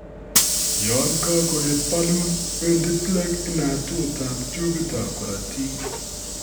Yon kagoet balloon, wendi plaque inatut ab tubit ab korotik